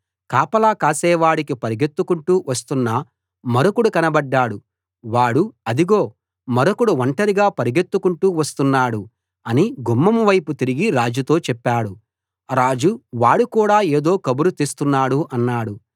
కాపలా కాసేవాడికి పరుగెత్తుకుంటూ వస్తున్న మరొకడు కనబడ్డాడు వాడు అదిగో మరొకడు ఒంటరిగా పరుగెత్తుకొంటూ వస్తున్నాడు అని గుమ్మం వైపు తిరిగి రాజుతో చెప్పాడు రాజు వాడు కూడా ఏదో కబురు తెస్తున్నాడు అన్నాడు